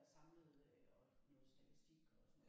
Der samlede øh noget statistik og sådan noget